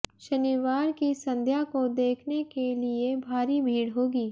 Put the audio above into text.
शनिवार की संध्या को देखने के लिए भारी भीड़ होगी